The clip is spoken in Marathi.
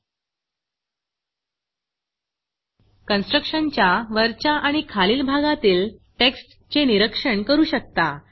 constructionकन्स्ट्रक्टशन च्या वरच्या आणि खालील भागातील टेक्स्ट चे निरीक्षण करू शकता